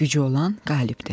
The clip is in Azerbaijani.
Gücü olan qalibdir.